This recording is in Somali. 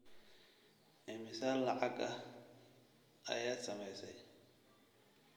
Immisa lacag ah ayaad samaysay?